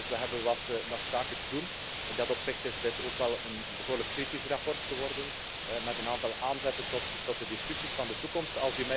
We hebben dus nog wat zaken te doen. In dat opzicht is dit ook een behoorlijk kritisch verslag geworden, met een aantal aanzetten tot de discussies van de toekomst.